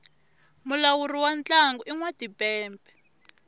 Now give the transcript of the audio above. mulawuri wa ntlangu i nwa timpepe